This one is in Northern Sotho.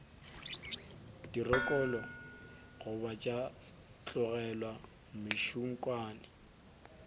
dirokolo goba tša tlolelwa mešunkwane